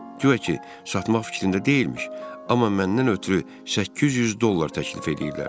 Guya ki, satmaq fikrində deyilmiş, amma məndən ötrü 800 dollar təklif eləyirlər.